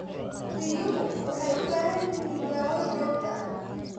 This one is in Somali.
Riyuhu waxay u baahan yihiin daaweyn joogto ah.